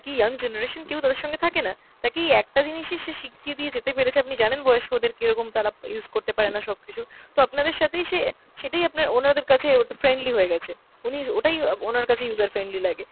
young generation, কেও তাদের সঙ্গে থাকেনা। তাকে এই একটা জিনিসই সে শিখিয়ে দিয়ে যেতে পেরেছে, আপনি জানেন বয়স্কদের কেরকম তারা use করতে পারেনা সব কিছু। তো আপনাদের সাথেই সে সেটাই আপনার ওনাদের কাছে ওটা friendly হয়েগেছে। উনি ওটাই আব~ ওনার কাছে user friendly লাগে,